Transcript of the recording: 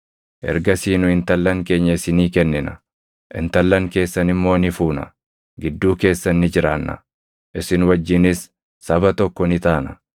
Ergasii nu intallan keenya isinii kennina; intallan keessan immoo ni fuuna. Gidduu keessan ni jiraanna; isin wajjinis saba tokko ni taana.